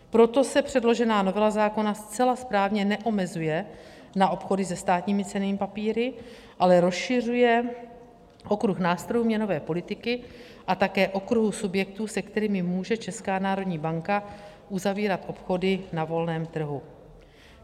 Proto se předložená novela zákona zcela správně neomezuje na obchody se státními cennými papíry, ale rozšiřuje okruh nástrojů měnové politiky a také okruh subjektů, s kterým může Česká národní banka uzavírat obchody na volném trhu.